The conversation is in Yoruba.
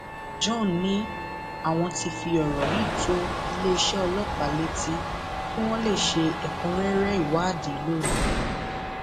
john ní àwọn ti fi ọrọ yìí tó iléeṣẹ ọlọpàá létí kí wọn lè ṣe ẹkúnrẹrẹ ìwádìí lórí rẹ